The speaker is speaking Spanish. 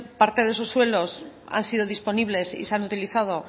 parte de esos suelos han sido disponibles y se han utilizado